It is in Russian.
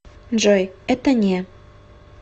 джой это не